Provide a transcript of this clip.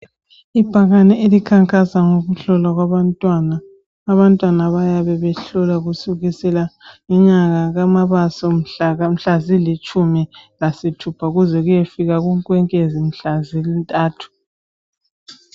Ibhakane elikhankasa ngokuhlolwa kwabantwana. Abantwana bayabe behlolwa kusukisela kunyanga kaMabasa mhla zilitshumi lasithupha kuze kuyefika kuNkwenkwezi mhla zintathu .